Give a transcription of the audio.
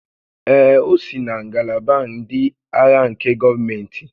Ee, o si na ngalaba ndị agha nke gọọmentị